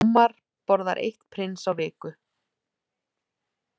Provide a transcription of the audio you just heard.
Ómar borðar eitt Prins á viku